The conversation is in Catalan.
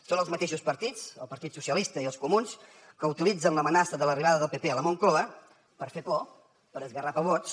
són els mateixos partits el partit socialista i els comuns que utilitzen l’amenaça de l’arribada del pp a la moncloa per fer por per esgarrapar vots